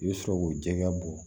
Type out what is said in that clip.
I bɛ sɔrɔ k'o jɛgɛ bɔ